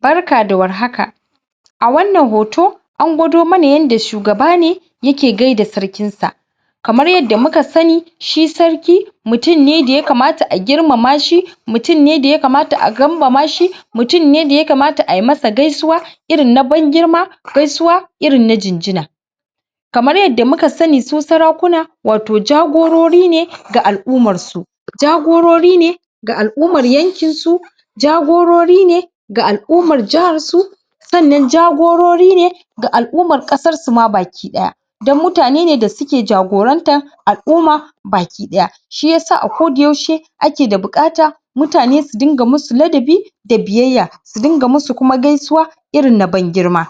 Barka da warhaka a wannan hoto an gwado mana yanda shugaba ne yake gaida sarkinsa kamar yadda muka sani shi sarki mutum ne da yakamata a girmama shi mutum ne da yakamata a kambama shi mutum ne da yakamata a yi masa gaisuwa irin na ban girma gaisuwa irin na jinjina kamar yadda muka sani su sarakuna wato jagorori ne ga al’ummarsu jagorori ne ga al’ummar yankinsu jagorori ne ga al’ummar jaharsu sannan jagorori ne ga al’ummar ƙasar su ma baki ɗaya don mutane ne da suke jagorantar al’umma baki ɗaya shi yasa a koda yaushe ake da buƙata mutane su dinga musu ladabi da biyayya su dinga musu kuma gaisuwa irin na ban girma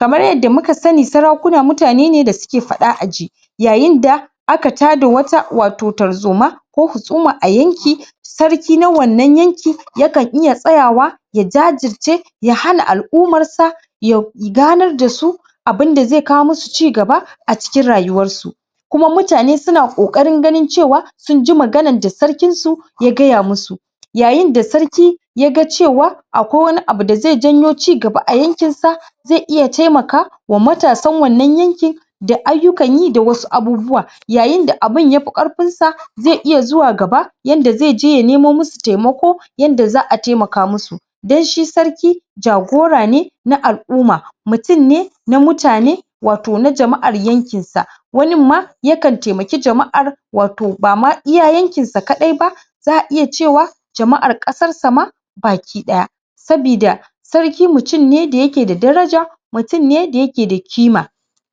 kamar yadda muka sani sarakuna mutane ne da suke faɗa a ji yayin da aka tada wata wato tarzoma ko husuma a yanki sarki na wannan yanki yakan iya tsayawa ya jajirce ya hana al’ummarsa ya ganar da su abin da zai kawo musu cigaba a cikin rayuwarsu kuma mutane suna ƙoƙarin ganin cewa sun ji maganar da sarkinsu ya gaya musu yayin da sarki ya ga cewa akwai wani abu da zai janyo cigaba yankinsa zai iya taimakawa wa matasan wannan yankin da ayyukan yi da wasu abubuwa yayin da abin yafi ƙarfinsa zai iya zuwa gaba yanda zai ya nemo musu taimako yanda za a taimaka musu don shi sarki jagora ne na al’umma mutum ne na mutane wato na jama’ar yankinsa waninma yakan taimaki jama’ar wato bama iya yankinsa kaɗai ba za a iya cewa jama’ar ƙasarsa ma baki ɗaya sabida sarki mutum ne da yake da daraja mutum ne da yake da kima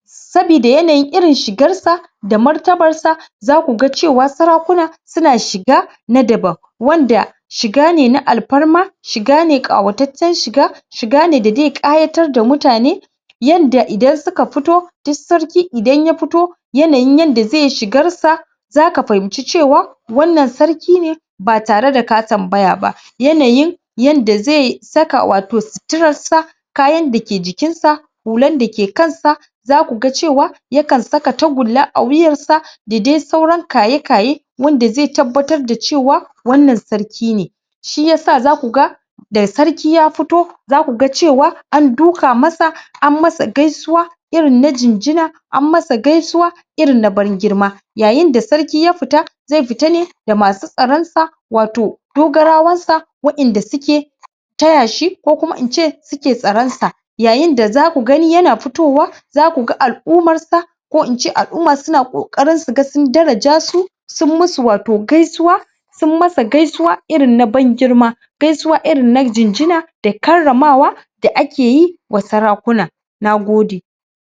sabida yanayin irin shigarsa da martabarsa zaku ga cewa sarakuna suna shiga na daban wanda shiga ne na alfarma shiga ne ƙawataccen shiga shiga ne da zai ƙayatar da mutane yanda idan suka fito duk sarki idan ya fito yanayin yadda zai shigarsa zaka fahimci cewa wannan sarki ne ba tare da ka tambaya ba. Yanayin yadda zai saka wato suturarsa kayan da ke jikinsa hulan da ke kansa zaku cewa yakan saka tagulla a wuyansa da dai sauran kaye-kaye wanda zai tabbatar da cewa wannan sarki ne shi yasa zaku ga da sarki ya fito zaku ga cewa an duƙa masa an masa gaisuwa irin na jinjina an masa gaisuwa irin na ban girma yayin da sarki ya fita zai fita ne ne da masu tsaronsa wato dogarawansa wa’inda suke taya shi, ko kuma in ce suke tsaronsa yayin da zaku gani yana fitowa zaku ga al’ummarsa ko in ce al’umma suna ƙoƙarin su ga sun daraja su sun musu wato gaisuwa, sun masa gaisuwa irin na ban girma gaisuwa irin na jinjina da karramawa da ake yi wa sarakakuna Nagode